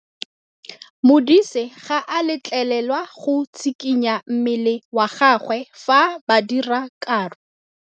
Modise ga a letlelelwa go tshikinya mmele wa gagwe fa ba dira karô.